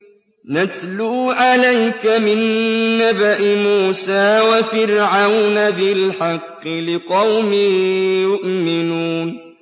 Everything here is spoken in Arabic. نَتْلُو عَلَيْكَ مِن نَّبَإِ مُوسَىٰ وَفِرْعَوْنَ بِالْحَقِّ لِقَوْمٍ يُؤْمِنُونَ